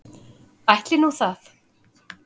Ætli nú það.